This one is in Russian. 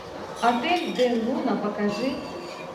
отель дель луна покажи